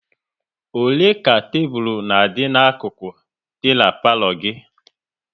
Ole ka tebụl na adị na-akuku dị n'palo gị?